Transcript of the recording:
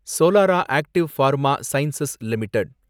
Solara active pharma science limited